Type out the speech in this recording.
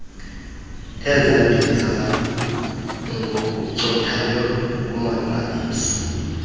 ezandisa ngokucothayo kunamaxabiso